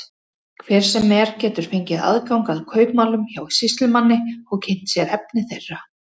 Hver sem er getur fengið aðgang að kaupmálum hjá sýslumanni og kynnt sér efni þeirra.